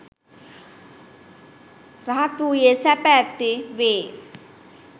රහත් වූයේ සැප ඇත්තේ වේ.